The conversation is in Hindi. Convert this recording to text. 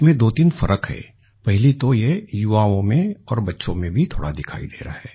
इसमें दो तीन फर्क है पहली तो ये युवाओं में और बच्चो में भी थोड़ा दिखाई दे रहा है